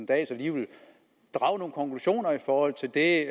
dahl så alligevel drager nogle konklusioner i forhold til det